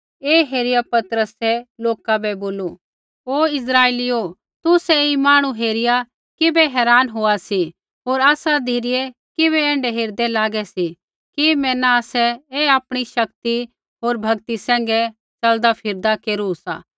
ऐ हेरिआ पतरसै लोका बै बोलू हे इस्राइलीओ तुसै ऐई मांहणु हेरिआ किबै हैरान होआ सी होर आसा धिरै किबै ऐण्ढै हेरदे लागै सी कि मैना आसै ऐ आपणी शक्ति होर भक्ति सैंघै ऐ च़लदा फिरदा केरू सा